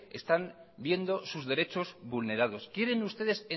están viendo sus derechos vulnerado quieren ustedes